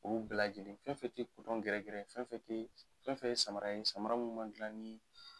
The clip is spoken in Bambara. Olu bɛɛ lajɛlen fɛn o fɛn tɛ gɛrɛgɛrɛ ye fɛn fɛn tɛ fɛn fɛn ye samara ye sama min ma dilan ni